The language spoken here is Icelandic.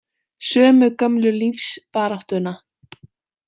Sömu gömlu lífsbaráttuna.